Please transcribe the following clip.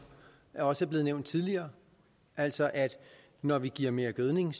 også er blevet nævnt tidligere altså altså når vi giver mere gødning